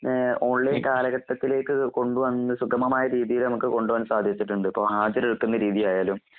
ഏഹ് ഓൺലൈൻകാലഘട്ടത്തിലേക്ക് കൊണ്ടുവന്ന്സുഗമമായരീതിയിൽനമുക്ക്കൊണ്ടുപോകാൻസാധിച്ചിട്ടുണ്ട്. ഇപ്പഹാജരെടുക്കുന്നരീതിയായാലും